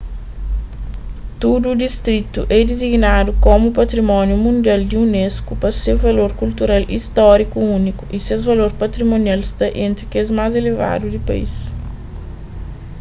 tudu distritu é disignadu komu patrimóniu mundial di unesco pa se valor kultural y stóriku úniku y ses valor patimonial sta entri kes más elevadu di país